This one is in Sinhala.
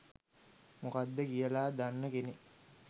මොකක්ද කියල දන්න කෙනෙක්